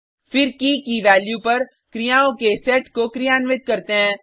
फिर की की वैल्यू पर क्रियाओं के सेट को क्रियान्वित करते हैं